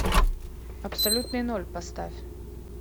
абсолютный ноль поставь